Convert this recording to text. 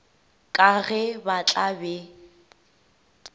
ka ge ba tla be